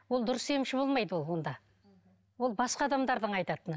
ол дұрыс емші болмайды ол онда ол басқа адамдардың айтатыны